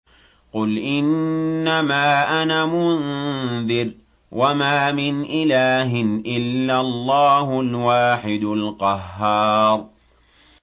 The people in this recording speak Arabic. قُلْ إِنَّمَا أَنَا مُنذِرٌ ۖ وَمَا مِنْ إِلَٰهٍ إِلَّا اللَّهُ الْوَاحِدُ الْقَهَّارُ